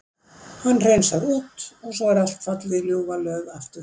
Hann hreinsar út og svo er allt fallið í ljúfa löð aftur.